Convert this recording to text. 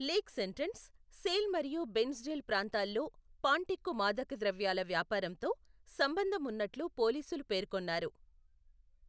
Lakes Entrance, Sale మరియు Bairnsdale ప్రాంతాల్లో పాంటిక్కు మాదకద్రవ్యాల వ్యాపారంతో, సంబంధం ఉన్నట్లు పోలీసులు పేర్కొన్నారు.